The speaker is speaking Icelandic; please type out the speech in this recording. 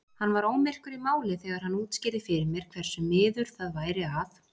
Hann var ómyrkur í máli þegar hann útskýrði fyrir mér hversu miður það væri að